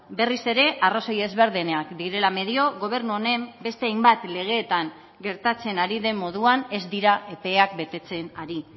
berriz ere arrazoi ezberdinak direla medio gobernu honen beste hainbat legeetan gertatzen ari den moduan ez dira epeak betetzen ari